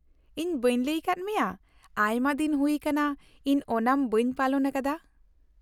ᱤᱧ ᱵᱟᱹᱧ ᱞᱟᱹᱭ ᱟᱫ ᱢᱮᱭᱟ ᱟᱭᱢᱟ ᱫᱤᱱ ᱦᱩᱭ ᱟᱠᱟᱱᱟ ᱤᱧ ᱳᱱᱟᱢ ᱵᱟᱹᱧ ᱯᱟᱞᱚᱱ ᱟᱠᱟᱫᱟ ᱾